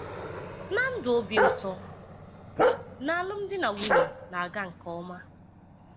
na ndụ obi ụtọ? n'alụmdi na nwunye na-aga nke ọma?